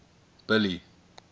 billy